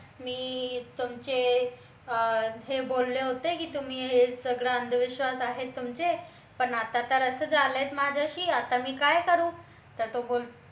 मी तुमचे हे बोलले होते की हे तुम्ही सगळा अंधविश्वास आहे तुमचे पण आता तर असं झालंय माझ्याशी आता मी काय करू तर तो